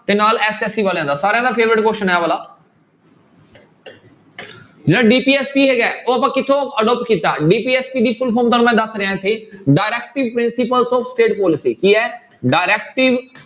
ਤੇ ਨਾਲ SSC ਵਾਲਿਆਂ ਦਾ ਸਾਰਿਆਂ ਦਾ favourite question ਹੈ ਆਹ ਵਾਲਾ ਜਿਹੜਾ DPSP ਹੈਗਾ ਉਹ ਆਪਾਂ ਕਿੱਥੋਂ adopt ਕੀਤਾ DPSP ਦੀ full form ਤੁਹਾਨੂੰ ਮੈਂ ਦੱਸ ਰਿਹਾਂ ਇੱਥੇ directive principles of state policy ਕੀ ਹੈ directive